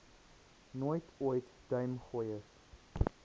nooit ooit duimgooiers